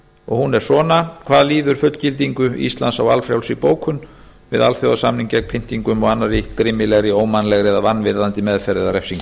og hún er svona hvað líður fullgildingu íslands á valfrjálsri bókun við alþjóðasamning gegn pyntingum og annarri grimmilegri ómannlegri eða vanvirðandi meðferð eða refsingu